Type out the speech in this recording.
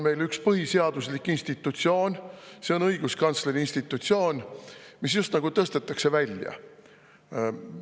Meil on üks põhiseaduslik institutsioon – õiguskantsleri institutsioon –, mis just nagu tõstetakse.